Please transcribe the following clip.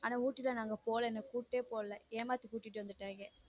ஆனா ஊட்டி தான் நாங்க போல கூப்டே போல ஏமாத்திட்டு கூட்டிட்டு வந்துட்டாங்க.